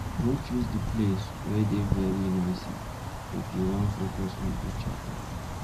No choose di place wey dey very noisy if una wan focus on each oda